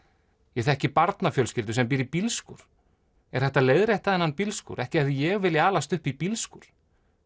ég þekki barnafjölskyldu sem býr í bílskúr er hægt að leiðrétta þennan bílskúr ekki hefði ég viljað alast upp í bílskúr